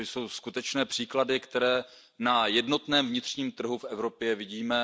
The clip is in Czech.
Toto jsou skutečné příklady, které na jednotném vnitřním trhu v Evropě vidíme.